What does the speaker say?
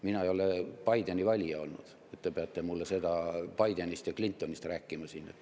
Mina ei ole Bideni valija olnud, et te peate mulle siin Bidenist ja Clintonist rääkima.